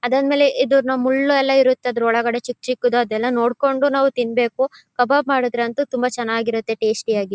ಅದಾದ್ಮೇಲೆ ಇದು ಮುಳ್ಳು ಎಲ್ಲ ಇರುತ್ತೆ ಅದ್ರೊಳ್ಳಗಡೆಯೇ ಚಿಕ್ಕ್ ಚಿಕ್ಕ್ ದು ಅದು ಎಲ್ಲ ನಾವು ನೋಡ್ಕೊಂಡು ತಿನ್ಬೇಕು. ಕಬಾಬ್ ಮಾಡಿದ್ರು ಅಂತೂ ತುಂಬಾ ಚನ್ನಾಗ್ ಇರುತ್ತೆ ಟೇಸ್ಟ್ ಆಗಿ.